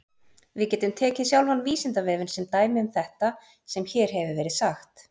Við getum tekið sjálfan Vísindavefinn sem dæmi um þetta sem hér hefur verið sagt.